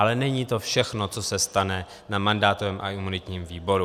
Ale není to všechno, co se stane na mandátovém a imunitním výboru.